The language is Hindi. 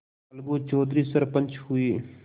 अलगू चौधरी सरपंच हुए